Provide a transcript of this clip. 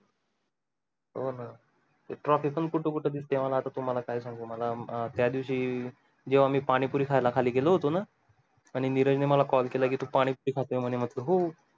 हो ना ती trophy पण कुठ कुठ दिसते मला आता तुम्हाला काय सांगू मला अं त्या दिवशी जेव्हा मी पाणी पुरी खायला खाली गेलो होतो ना आणि नीरज मला call केला कि तू पाणी पुरी खातोय म्हंटलं हो